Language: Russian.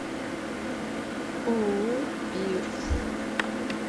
ооо пирс